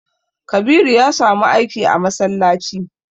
Kabiru ya samu aiki a masallaci.